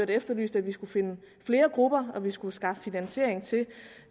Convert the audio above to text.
det efterlyst at vi skulle finde flere grupper altså at vi skulle skaffe finansiering til